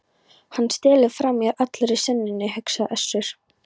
Hann stelur frá mér allri senunni, hugsaði Össur.